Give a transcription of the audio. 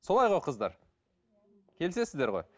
солай ғой қыздар келісесіздер ғой